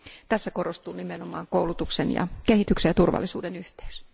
Tässä korostuu nimenomaan koulutuksen ja kehityksen ja turvallisuuden yhteys.